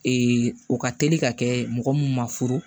o ka teli ka kɛ mɔgɔ mun ma furu